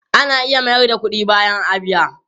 Ana iya mayar da kudi bayan a biya?